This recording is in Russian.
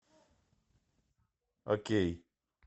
окей